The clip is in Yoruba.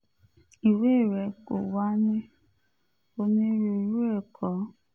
ìwé rẹ̀ kò wà ní onírúurú ẹ̀kọ́